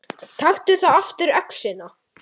Taktu þá aftur öxina.